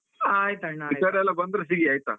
ಆಯ್ತಣ್ಣಾ ಆಯ್ತು. ಈ ಕಡೆಯೆಲ್ಲ ಬಂದ್ರೆ ಸಿಗಿ ಆಯ್ತಾ.